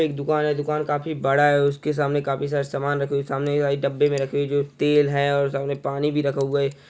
एक दुकान है दुकान काफी बड़ा है उसके सामने काफी सारा समान रखा हुई है सामने डब्बे मे रखे है तेल है और पानी भी रखा हुआ है।